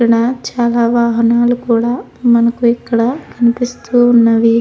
ఇక్కడ చాలా వాహనాలు కూడా మనకి ఇక్కడ కనిపిస్తూ ఉన్నవి.